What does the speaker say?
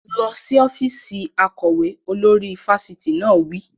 Lọ sí ọ́fíìsì akọ̀wé! Olórí fáfitì náà wí.